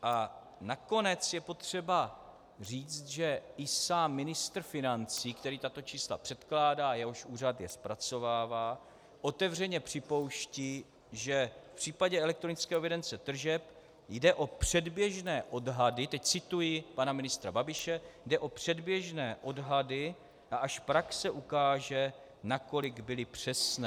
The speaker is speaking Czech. A nakonec je potřeba říct, že i sám ministr financí, který tato čísla předkládá, jehož úřad je zpracovává, otevřeně připouští, že v případě elektronické evidence tržeb jde o předběžné odhady, teď cituji pana ministra Babiše: "Jde o předběžné odhady a až praxe ukáže, nakolik byly přesné."